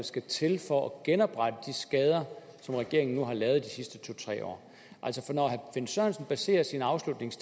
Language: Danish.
skal til for at genoprette de skader som regeringen nu har lavet de sidste to tre år altså når herre finn sørensen baserer sin